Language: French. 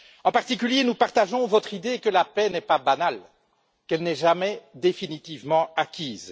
En particulier, nous partageons votre idée que la paix n'est pas banale et qu'elle n'est jamais définitivement acquise.